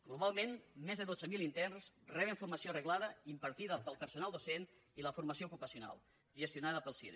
globalment més de dotze mil interns reben formació reglada impartida pel personal docent i la formació ocupacional gestionada pel cire